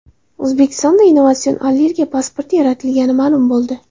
O‘zbekistonda innovatsion allergiya pasporti yaratilgani ma’lum bo‘ldi.